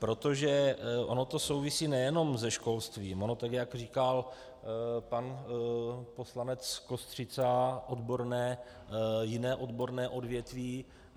Protože ono to souvisí nejenom se školstvím, ono tak jak říkal pan poslanec Kostřica jiné odborné odvětví.